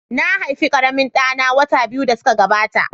Na haifi ƙaramin ɗa na wata biyu da suka gabata.